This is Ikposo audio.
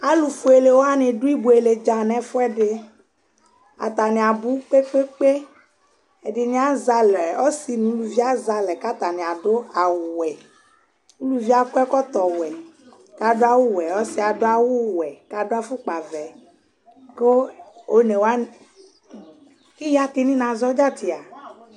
alʋ ƒʋɛlɛ wani dʋ ibʋɛlɛ dza nʋ ɛƒʋɛdi, atani abʋ kpekpekpe, ɛdini azɛ alɛ, ɔsii nʋʋlʋviazɛalɛ kʋ atani adʋ awʋ wɛ, ʋlʋviɛ akɔ ɛkɔtɔ wɛ kʋ adʋ awʋ wɛ, ɔsiiɛ adʋ awʋ wɛ kʋ adʋ aƒʋkpa vɛ kʋ ɔnɛ wani, kiya ti nina zɔ dza tia